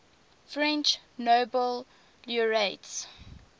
french nobel laureates